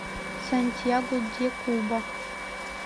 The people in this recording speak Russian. сантьяго де куба